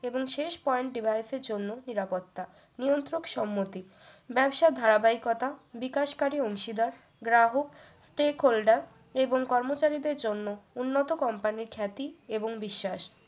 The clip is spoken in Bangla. এবং শেষ point device এর জন্য নিরাপত্তা নিয়ন্ত্রক সম্মতি ব্যবসা ধারাবাহিকতা বিকাশকারী অংশীদার গ্রাহক stack holder এবং কর্মচারীদের জন্য উন্নত কোম্পানির খ্যাতি এবং বিশ্বাস